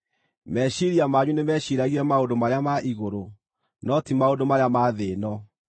Meciiria manyu nĩmeciiragie maũndũ marĩa ma igũrũ, no ti maũndũ marĩa ma thĩ ĩno.